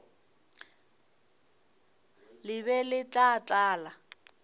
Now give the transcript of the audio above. le be le tla tlala